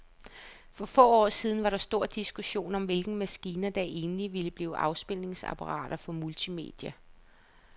For få år siden var der stor diskussion om, hvilke maskiner, der egentlig ville blive afspilningsapparater for multimedia.